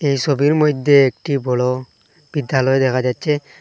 এই সবির মইদ্যে একটি বড় বিদ্যালয় দেখা যাচ্চে।